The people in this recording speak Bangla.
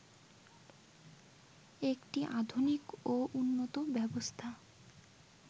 একটি আধুনিক ও উন্নত ব্যবস্থা